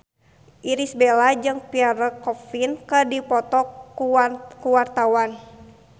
Irish Bella jeung Pierre Coffin keur dipoto ku wartawan